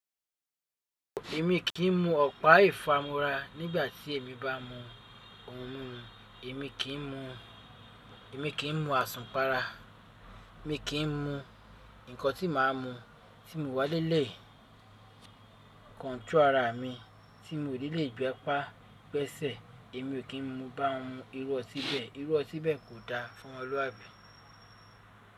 Èmi kì í mú ọ̀pá ìfámúra nígbà tí èmi bá mu ohun mímu. Èmi kì í mú, èmi kì í mú àsunpàrà. Èmi kì í mú nǹkan tí màá mú tí mo wá nilẹ̀. Control ara mi tí mo ò ní lè ju apá gbẹ́sẹ̀. Èmi ò kí n mú bá won mu irú ọtí bẹ́ẹ̀. Irú ọtí bẹ́ẹ̀ kò da fún omoluabi.